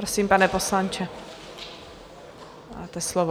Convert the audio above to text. Prosím, pane poslanče, máte slovo.